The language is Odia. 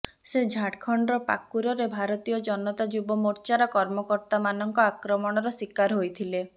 ସେ ଝାଡ଼ଖଣ୍ଡର ପାକୁରରେ ଭାରତୀୟ ଜନତା ଯୁବ ମୋର୍ଚ୍ଚାର କର୍ମକର୍ତ୍ତାମାନଙ୍କ ଆକ୍ରମଣର ଶିକାର ହୋଇଥିଲେ